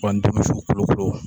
U ka ntomisun kolokolo